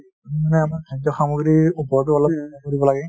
মানে আমাৰ খাদ্য সামগ্ৰীৰ ওপৰটো অলপ কৰিব লাগে